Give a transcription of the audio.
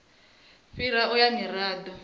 fhirisa u ya nga mirado